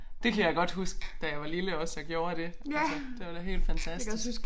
Det kan jeg godt huske da jeg var lille også og gjorde det altså. Det var da helt fantastisk